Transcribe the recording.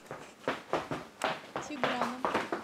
тиграном